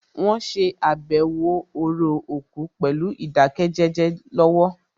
Wọ́n ṣe àbẹ̀wò orò òkú pẹ̀lú ìdákẹ́jẹ́jẹ́ lọ́wọ́